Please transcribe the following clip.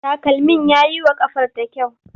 Takalmin ya yi wa ƙafarta kyau.